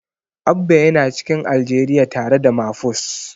Abba yana cikin Aljeriya tare da Mafus.